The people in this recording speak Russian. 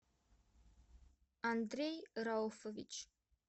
андрей рауфович